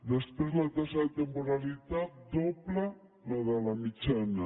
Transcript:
després la taxa de temporalitat dobla la de la mitjana